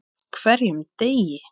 HVERJUM DEGI!